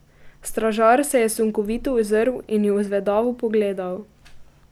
Stražar se je sunkovito ozrl in ju zvedavo pogledal.